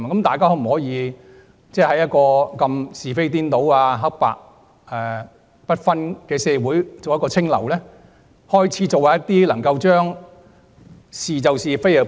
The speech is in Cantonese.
大家可否在一個是非顛倒、黑白不分的社會中做一股清流，是其是，非其非？